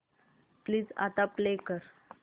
please आता play कर